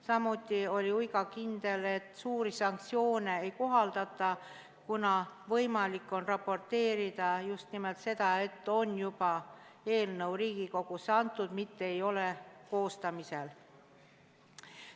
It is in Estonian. Samuti oli Uiga kindel, et suuri sanktsioone ei kohaldata, kuna võimalik on raporteerida just nimelt seda, et eelnõu on juba Riigikogusse antud, mitte ei ole koostamisel.